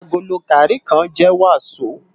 Àgóló gàrí kán jè wasó